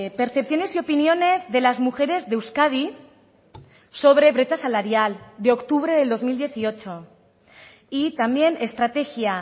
percepciones y opiniones de las mujeres de euskadi sobre brecha salarial de octubre del dos mil dieciocho y también estrategia